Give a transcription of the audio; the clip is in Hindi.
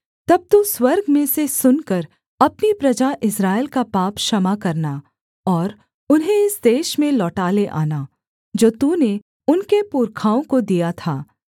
तब तू स्वर्ग में से सुनकर अपनी प्रजा इस्राएल का पाप क्षमा करना और उन्हें इस देश में लौटा ले आना जो तूने उनके पुरखाओं को दिया था